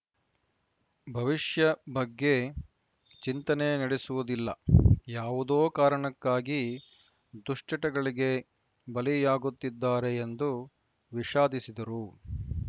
ಭವಿಷ್ಯ ಬಗ್ಗೆ ಚಿಂತನೆ ನಡೆಸುವುದಿಲ್ಲ ಯಾವುದೋ ಕಾರಣಕ್ಕಾಗಿ ದುಶ್ಚಟಗಳಿಗೆ ಬಲಿಯಾಗುತ್ತಿದ್ದಾರೆ ಎಂದು ವಿಷಾದಿಸಿದರು